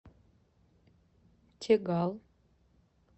тегал